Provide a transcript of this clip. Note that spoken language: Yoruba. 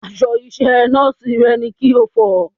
Aṣọ iṣẹ́ Nọ́ọ̀sì rẹ ni kí o fọ̀!